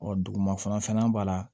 Ɔ duguma fana b'a la